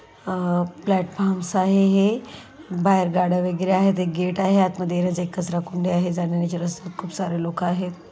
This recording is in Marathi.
आ प्लाट्फोर्म्स आहे हे बाहेर गाड्या वगेरे आहेत एक गेट आहे आतमध्ये एक कचराकुंडी आहे जाण्या-येणाची रस्ता खूपसारे लोक आहेत.